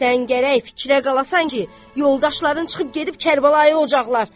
Sən gərək fikrə qalasan ki, yoldaşların çıxıb gedib Kərbəlaya olacaqlar.